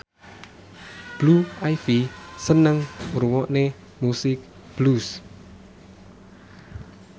Blue Ivy seneng ngrungokne musik blues